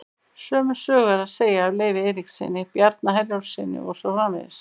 Sömu sögu er að segja af Leifi Eiríkssyni, Bjarna Herjólfssyni og svo framvegis.